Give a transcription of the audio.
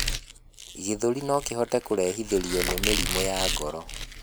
gĩthũri nokihote kurehithirio ni mĩrimũ ya ngoro